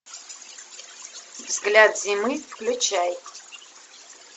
взгляд зимы включай